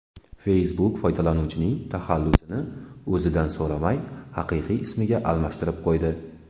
Facebook foydalanuvchining taxallusini o‘zidan so‘ramay haqiqiy ismiga almashtirib qo‘ydi.